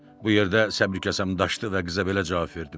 Bu yerdə səbr-kəsəmim daşdı və qıza belə cavab verdim.